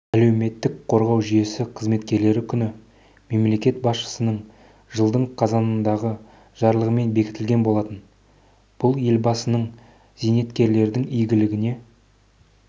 әлеуметтік қорғау жүйесі қызметкерлері күні мемлекет басшысының жылдың қазанындағы жарлығымен бекітілген болатын бұл елбасының зейнеткерлердің игілігіне